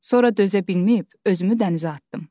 Sonra dözə bilməyib özümü dənizə atdım.